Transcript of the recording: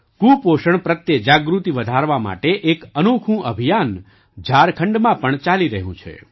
કુપોષણ પ્રત્યે જાગૃતિ વધારવા માટે એક અનોખું અભિયાન ઝારખંડમાં પણ ચાલી રહ્યું છે